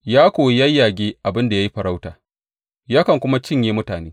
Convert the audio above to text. Ya koyi yayyage abin da ya yi farauta yakan kuma cinye mutane.